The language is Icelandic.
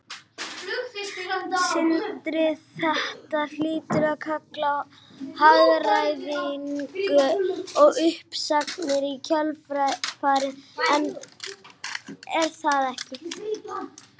Sindri: Þetta hlýtur að kalla á hagræðingu og uppsagnir í kjölfarið er það ekki?